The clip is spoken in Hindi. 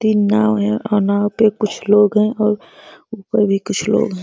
तीन नाव है। अ- नाव पे कुछ लोग है और ऊपर भी कुछ लोग हैं।